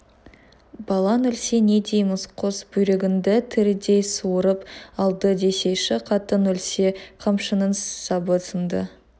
балаң өлсе не дейміз қос бүйрегіңді тірідей суырып алды десейші қатын өлсе қамшының сабы сынды